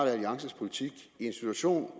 alliances politik i en situation